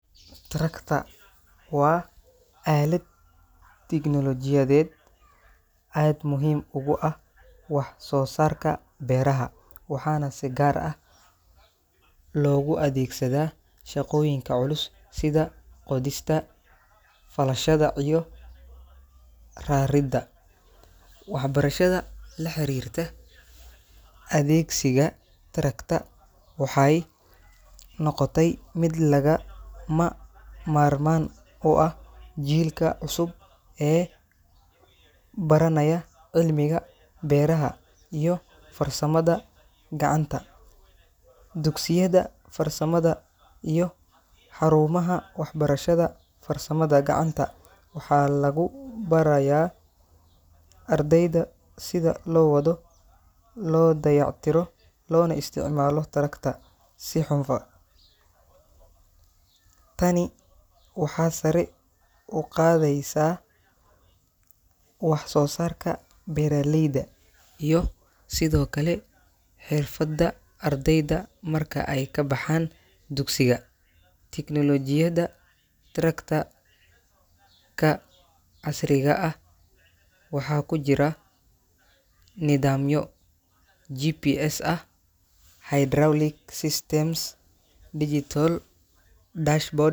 Tractor waa aalad tignoolajiyadeed aad muhiim ugu ah wax soo saarka beeraha, waxaana si gaar ah loogu adeegsadaa shaqooyinka culus sida qodista, falashada iyo raridda. Waxbarashada la xiriirta adeegsiga tractor waxay noqotay mid lagama maarmaan u ah jiilka cusub ee baranaya cilmiga beeraha iyo farsamada gacanta. Dugsiyada farsamada iyo xarumaha waxbarashada farsamada gacanta waxaa lagu barayaa ardayda sida loo wado, loo dayactiro, loona isticmaalo tractor si hufan. Tani waxa sare u qaadaysaa wax-soosaarka beeraleyda iyo sidoo kale xirfadda ardayda marka ay ka baxaan dugsiga. Tignoolajiyada tractor-ka casriga ah waxaa ku jira nidaamyo GPS ah, hydraulic systems, iyo digital dashboard.